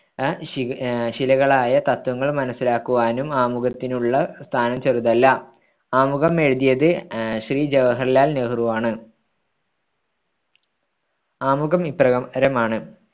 അഹ് ശി ശിലകളായ തത്ത്വങ്ങൾ മനസ്സിലാക്കുവാനും ആമുഖത്തിനുള്ള സ്ഥാനം ചെറുതല്ല ആമുഖം എഴുതിയത് അഹ് ശ്രീ ജവഹർലാൽ നെഹ്രുവാണ